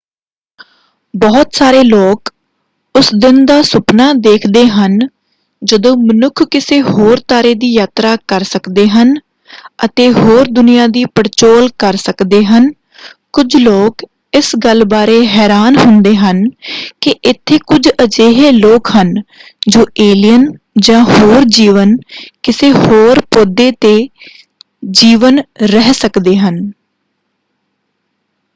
ਬਹੁਤ ਸਾਰੇ ਲੋਕ ਉਸ ਦਿਨ ਦਾ ਸੁਪਨਾ ਦੇਖਦੇ ਹਨ ਜਦੋਂ ਮਨੁੱਖ ਕਿਸੇ ਹੋਰ ਤਾਰੇ ਦੀ ਯਾਤਰਾ ਕਰ ਸਕਦੇ ਹਨ ਅਤੇ ਹੋਰ ਦੁਨੀਆਂ ਦੀ ਪੜਚੋਲ ਕਰ ਸਕਦੇ ਹਨ ਕੁਝ ਲੋਕ ਇਸ ਗੱਲ ਬਾਰੇ ਹੈਰਾਨ ਹੁੰਦੇ ਹਨ ਕਿ ਇੱਥੇ ਕੁਝ ਅਜਿਹੇ ਲੋਕ ਹਨ ਜੋ ਏਲੀਅਨ ਜਾਂ ਹੋਰ ਜੀਵਨ ਕਿਸੇ ਹੋਰ ਪੌਦੇ 'ਤੇ ਜੀਵਨ ਰਹਿ ਸਕਦੇ ਹਨ।